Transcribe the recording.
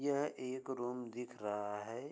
यह एक रूम दिख रहा है ।